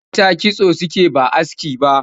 Mata kitso suke ba aski ba